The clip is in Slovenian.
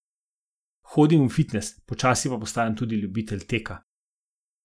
Hodim v fitnes, počasi pa postajam tudi ljubitelj teka.